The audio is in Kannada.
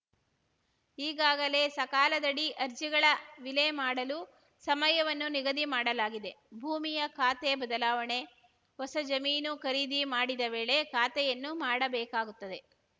ಈಗಾಗಲೇ ಸಕಾಲದಡಿ ಅರ್ಜಿಗಳ ವಿಲೆ ಮಾಡಲು ಸಮಯವನ್ನು ನಿಗದಿ ಮಾಡಲಾಗಿದೆ ಭೂಮಿಯ ಖಾತೆ ಬದಲಾವಣೆ ಹೊಸ ಜಮೀನು ಖರೀದಿ ಮಾಡಿದ ವೇಳೆ ಖಾತೆಯನ್ನು ಮಾಡಬೇಕಾಗುತ್ತದೆ